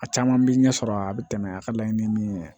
A caman bɛ ɲɛsɔrɔ a bɛ tɛmɛ a ka laɲini min ye